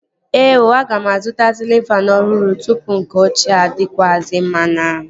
Ee ooo, aga m azụta sịlịn faanụ ọhụrụ tụpụ nke ọchịea adakwasi m n'ahụ